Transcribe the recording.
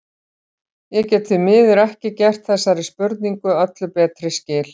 Ég get því miður ekki gert þessari spurningu öllu betri skil.